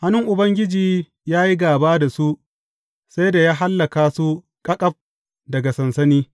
Hannun Ubangiji ya yi gāba da su sai da ya hallaka su ƙaƙaf daga sansani.